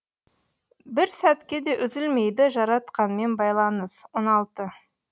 бір сәтке де үзілмейді жаратқанмен байланыс он алты